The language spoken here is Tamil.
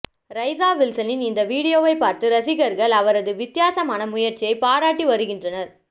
ரைஸா வில்சனின் இந்த வீடியோவை பார்த்த ரசிகர்கள் அவரது வித்தியாசமான முயற்சியை பாராட்டி வருகின்றனர்